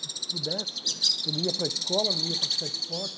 Se pudesse, eu não ia para a escola, não ia praticar esporte.